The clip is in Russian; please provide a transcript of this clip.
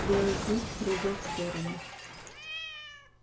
белый клык прыгал в сторону